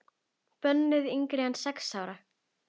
Bönnuð yngri en sex ára.